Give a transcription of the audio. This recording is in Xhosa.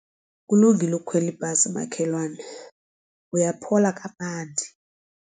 Kulungile ukukhwela ibhasi makhelwane uyaphola kamandi.